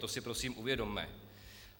To si prosím uvědomme.